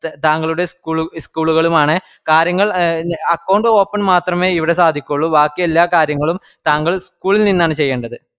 താങ്കളുടെ ഇസ്കൂളും school കളും ആണ് കാര്യങ്ങൾ account open മാത്രമെ ഇവിടെസാദിക്കുള്ളു ബാക്കിഎല്ലാകര്യങ്ങളുംതാങ്കൾ school നിന്നാണ് ചെയ്യണ്ടത്